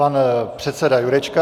Pan předseda Jurečka.